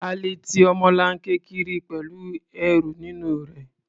A lè ti ọmọlanke kiri pẹ̀lú ẹrù nínú rẹ̀.